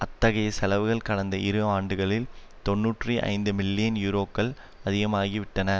அத்தகைய செலவுகள் கடந்த இரு ஆண்டுகளில் தொன்னூற்றி ஐந்து மில்லியன் யூரோக்கள் அதிகமாகிவிட்டன